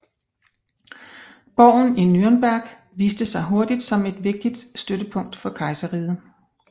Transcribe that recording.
Borgen i Nürnberg viste sig hurtigt som et vigtigt støttepunkt for kejserriget